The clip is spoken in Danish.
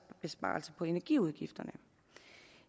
besparelse på energiudgifterne